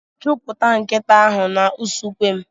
Chụpụta nkịta ahụ n'usekwu m.